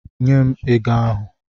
Nye m ego ahụ!